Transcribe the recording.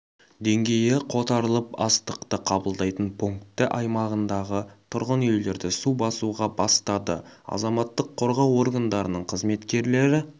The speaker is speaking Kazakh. деңгейі қотарылып астықты қабылдайтын пункті аймағындағы тұрғын үйлерді су басуға бастады азаматтық қорғау органдарының қызметкерлері